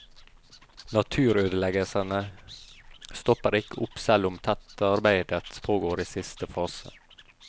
Naturødeleggelsene stopper ikke opp selv om tettearbeidet pågår i siste fase.